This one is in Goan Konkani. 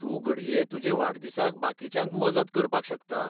तूं घडये तुजे वाडदिसाक बाकीच्यांक मजत करपाक शकता.